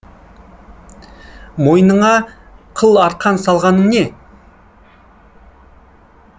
мойнына қыл арқан салғаның не